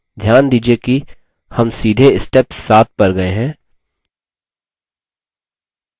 ध्यान दीजिये कि हम सीधे step 7 पर गये हैं